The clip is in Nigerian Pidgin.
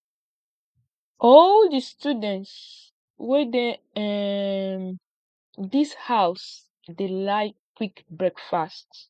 all di students wey dey um dis house dey like quick breakfast